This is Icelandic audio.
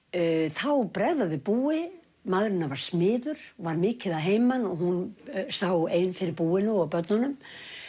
þá bregða þau búi maðurinn hennar var smiður og var mikið að heiman og hún sá ein fyrir búinu og börnunum